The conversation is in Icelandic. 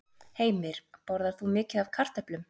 Heimir: Borðar þú mikið af kartöflum?